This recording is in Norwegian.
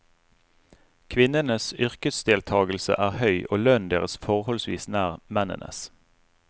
Kvinnenes yrkesdeltagelse er høy og lønnen deres forholdsvis nær mennenes.